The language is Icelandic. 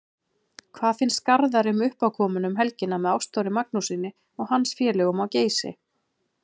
Hvað finnst Garðari um uppákomuna um helgina með Ástþóri Magnússyni og hans félögum á Geysi?